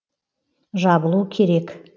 жабылу керек